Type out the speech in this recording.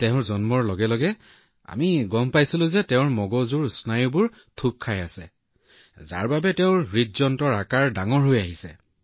তাইৰ জন্মৰ লগে লগে আমি গম পাইছিলো যে তাইৰ মগজুত এটা স্নায়ুগোট আছে যাৰ বাবে তাইৰ হৃদযন্ত্ৰৰ আকাৰ ডাঙৰ হৈ আহিছিল